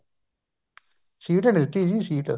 seat ਹੀ ਨੀ ਦਿੱਤੀ ਜੀ ਸੀਟ